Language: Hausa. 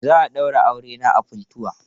Za a daura auren ne a Funtua.